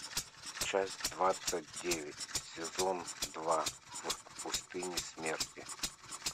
часть двадцать девять сезон два в пустыне смерти